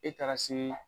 E taara sini na